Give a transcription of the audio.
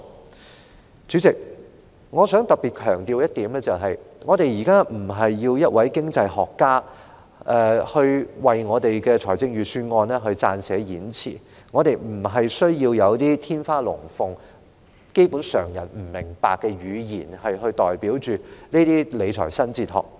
代理主席，我想特別強調的一點，是我們現時不是要一位經濟學家來為預算案撰寫演辭，也並非需要天花亂墜的言詞，或基本上以常人不明白的語言來表達的那種理財新哲學。